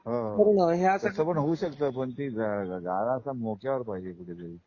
हा तस पण होऊ शकत पण गाला असं मोक्यावर गाळा पाहिजे कुठे तरी.